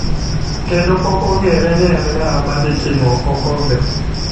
kendo pok ong'ere ni en ng'awa ma dhi tingo okombe.